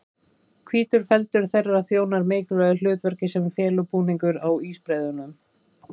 Hvítur feldur þeirra þjónar mikilvægu hlutverki sem felubúningur á ísbreiðunum.